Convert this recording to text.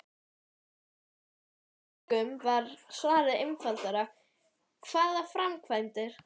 Hjá allmörgum var svarið einfaldlega: Hvaða framkvæmdir?